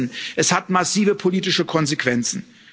Denn wir wissen Es hat massive politische Konsequenzen.